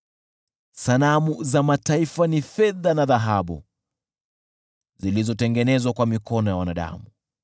Sanamu za mataifa ni fedha na dhahabu, zilizotengenezwa kwa mikono ya wanadamu.